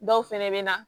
Dɔw fɛnɛ bɛ na